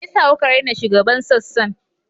Me yasa kuka raina shugaban sassan?